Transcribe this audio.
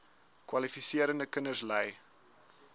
kwalifiserende kinders ly